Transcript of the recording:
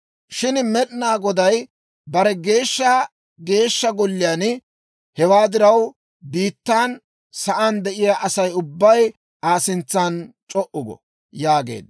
«Shin Med'ina Goday bare geeshsha Geeshsha Golliyaana. Hewaa diraw, biittan sa'aan de'iyaa Asay ubbay Aa sintsan c'o"u go» yaageedda.